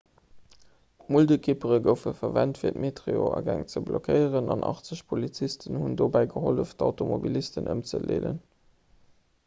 muldekippere goufe verwent fir d'metroagäng ze blockéieren an 80 polizisten hunn dobäi gehollef d'automobilisten ëmzeleeden